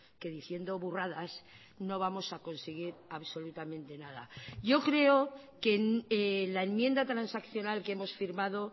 que diciendo burradas no vamos a conseguir absolutamente nada yo creo que la enmienda transaccional que hemos firmado